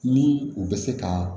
Ni u bɛ se ka